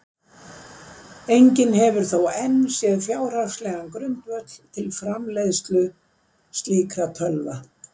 Enginn hefur þó enn séð fjárhagslegan grundvöll fyrir framleiðslu slíkra tölva.